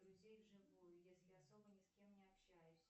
друзей вживую если особо ни с кем не общаюсь